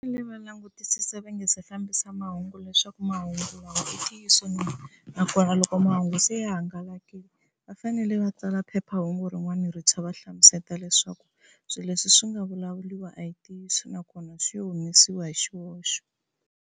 Va fanele va langutisisa va nga se fambisa mahungu leswaku mahungu lawa i ntiyiso na, nakona loko mahungu se ya hangalakile va fanele va tsala phephahungu rin'wana rintshwa va hlamuseta leswaku swilo leswi swi nga vulavuriwa a hi ntiyiso nakona swi humesiwe hi xihoxo.